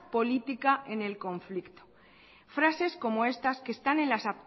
política en el conflicto frases como estas que están en las